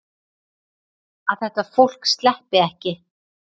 Að þetta fólk sleppi ekki.